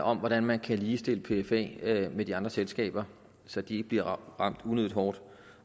om hvordan man kan ligestille pfa med de andre selskaber så de ikke bliver ramt unødigt hårdt